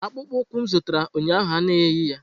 Akpụkpọ ụkwụ m zụtara ụnyahụ anaghị eyi ya!